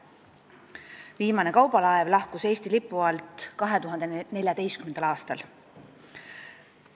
Viimane kaubalaev lahkus Eesti lipu alt 2014. aastal.